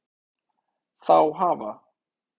Þá hafa